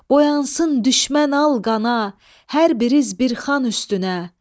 Boyansın düşmən al qana, hər biriz bir xan üstünə.